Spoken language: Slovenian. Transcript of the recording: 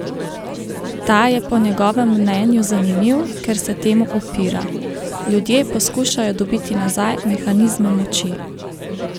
Ta je po njegovem mnenju zanimiv, ker se temu upira: "Ljudje poskušajo dobiti nazaj mehanizme moči.